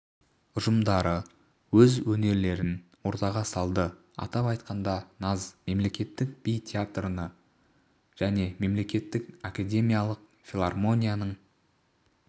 ұжымдары өз өнерлерін ортаға салды атап айтқанда наз мемлекеттік би театрының және мемлекеттік академиялық филармонияның